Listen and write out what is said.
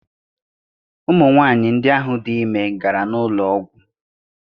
Ụmụ nwaanyi ndị ahụ dị ime gara n'ụlọ ọgwụ.